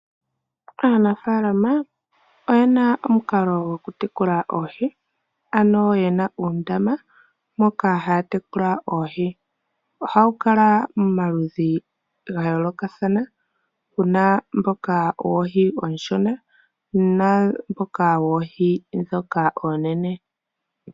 Aanafalama oye na omukalo gokutekula oohi, ano yena uundama moka haya tekula oohi. Oha wu kala momaludhi ga yoolokathana puna mboka woohi ooshona namboka woohi dhoka oonene.